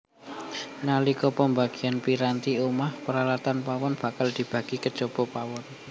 Nalika pembagian piranti omah peralatan pawon bakal dibagi kejaba pawon